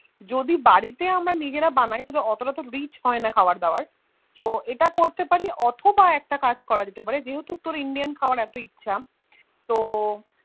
যদি বাড়িতে আমরা নিজেরা বানাই মানে অটো টা তো Rich হবেনা খাবার দাবার তো ইটা করতে পারলে অথবা একটা কাজ করা যেতে পারে যেহুতু তোর Indian খাবার এত ইচ্ছা Chicken খাবার এত ইচ্ছা তো